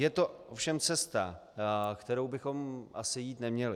Je to ovšem cesta, kterou bychom asi jít neměli.